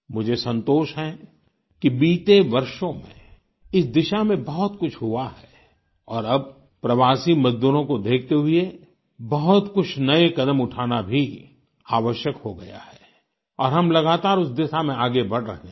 मुझे संतोष है कि बीते वर्षों में इस दिशा में बहुत कुछ हुआ है और अब प्रवासी मजदूरों को देखते हुए बहुत कुछ नए कदम उठाना भी आवश्यक हो गया है और हम लगातार उस दिशा में आगे बढ़ रहें हैं